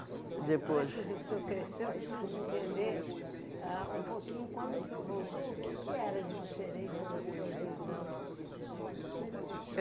Depois... Antes de o senhor crescer, eu preciso entender ah um pouquinho, quando o senhor voltou, o que que era de diferente na sua visão?